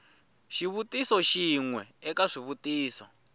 xivutiso xin we eka swivutiso